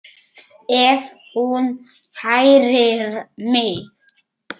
Ef hún kærir mig.